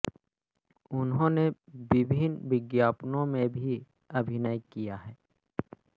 उन्होंने विभिन्न विज्ञापनों में भी अभिनय किया है